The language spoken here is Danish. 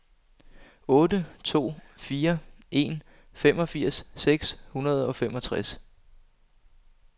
otte to fire en femogfirs seks hundrede og femogtres